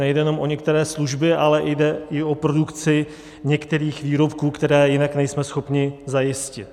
Nejde jenom o některé služby, ale jde i o produkci některých výrobků, které jinak nejsme schopni zajistit.